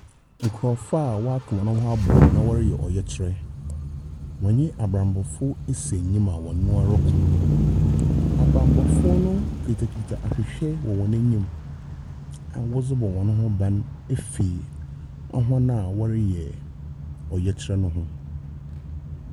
Nkurɔfoɔ a wɔaka hɔn ho abom na wɔreyɛ ɔyɛkyerɛ. Wɔne abammɔfoɔ asi anim a wɔnyɛ hɔn roko. Abammɔfoɔ no kutakuta ahwehwɛ wɔ wɔn enyi w wɔdze bz hzn ho ba afiri hɔn a wɔreyɛ ɔyɛkyerɛ no ho.